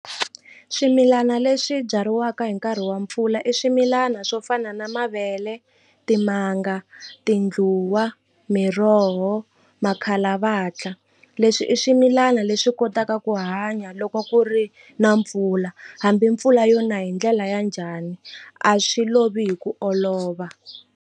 Swimilana leswi byariwaka hi nkarhi wa mpfula i swimilana swo fana na mavele timanga tindluwa miroho makhalavatla leswi i swimilana leswi kotaka ku hanya loko ku ri na mpfula hambi mpfula yona hi ndlela ya njhani a swi lovi hi ku olova.